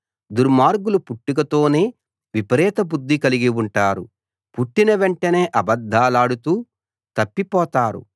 దుర్మార్గులు పుట్టుకతోనే విపరీత బుద్ధి కలిగి ఉంటారు పుట్టిన వెంటనే అబద్ధాలాడుతూ తప్పిపోతారు